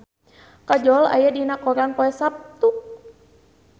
Kajol aya dina koran poe Saptu